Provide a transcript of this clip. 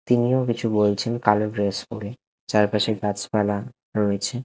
তিনি ও কিছু বলছেন কালো ড্রেস পরে চারপাশে গাছ পালা রয়েছে ।